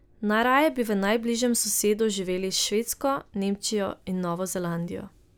Najraje bi v najbližjem sosedstvu živeli s Švedsko, Nemčijo in Novo Zelandijo.